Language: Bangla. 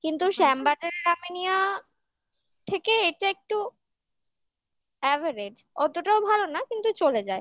কিন্তু শ্যামবাজার আমিনিয়া থেকে এটা একটু average অতটাও ভালো না কিন্তু চলে যায়